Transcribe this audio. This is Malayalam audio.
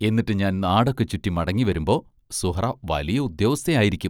എന്നിട്ട് ഞാൻ നാടൊക്കെ ചുറ്റി മടങ്ങിവരുമ്പോൾ സുഹ്റാ വലിയ ഉദ്യോഗസ്ഥയായിരിക്കും.